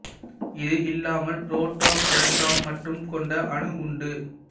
இது இல்லாமல் proton electron மட்டும் கொண்ட அணு உண்டு